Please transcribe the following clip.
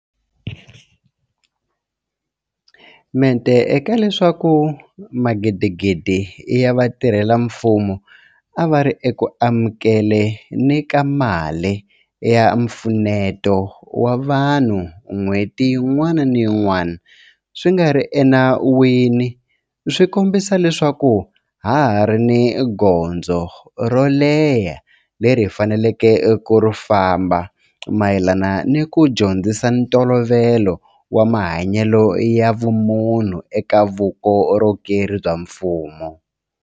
Mente ka leswaku magidigidi ya vatirhela mfumo a va ri eku amukeleni ka mali ya mpfuneto wa vanhu nhweti yin'wana ni yin'wana swi nga ri enawini swi kombisa leswaku ha ha ri ni gondzo ro leha leri hi faneleke ku ri famba mayelana ni ku dyondzisa ntolovelo wa mahanyelo ya vumunhu eka vukorhokeri bya mfumo.